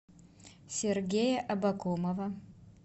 сергея абакумова